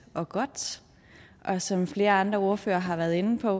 og godt og som flere andre ordførere har været inde på